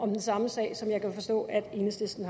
den samme sag som jeg kan forstå enhedslisten